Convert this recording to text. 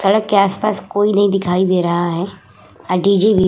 सड़क के आस-पास कोई नहीं दिखाई दे रहा है। आ डी जे भी --